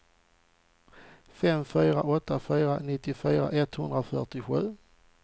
fem fyra åtta fyra nittiofyra etthundrafyrtiosju